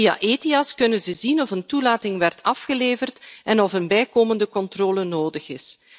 Via Ethias kunnen ze zien of een toelating werd afgeleverd en of een bijkomende controle nodig is.